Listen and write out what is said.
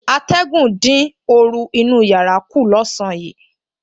Atẹ̀gùn dín oru inú yàrá kù lọ́sàn-án yìí